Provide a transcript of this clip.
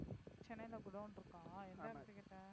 சென்னைல குடோன் இருக்கா? எந்த எடத்துக்கிட்ட?